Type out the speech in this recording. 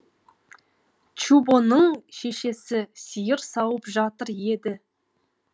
чубоның шешесі сиыр сауып жатыр еді